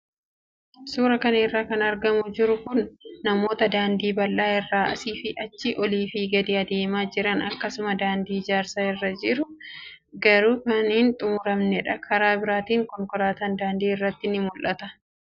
Suuraa kana irraa kan argaa jirru suuraa namoota daandii bal'aa irra asii fi achi, olii fi gadi adeemaa jiran akkasumas daandii ijaarsa irra jiru garuu kan hin xumuramnedha. Karaa biraatiin konkolaataan daandii irratti ni mul'ata.